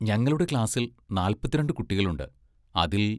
ഞങ്ങളുടെ ക്ലാസിൽ നാല്പത്തിരണ്ടു കുട്ടികളുണ്ട് അതിൽ